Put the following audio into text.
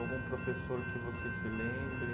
Algum professor que você se lembre?